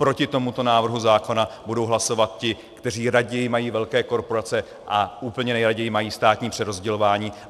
Proti tomuto návrhu zákona budou hlasovat ti, kteří raději mají velké korporace a úplně nejraději mají státní přerozdělování.